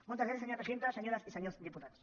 moltes gràcies senyora presidenta senyores i senyors diputats